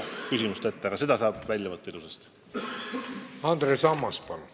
Lugupeetav eesistuja!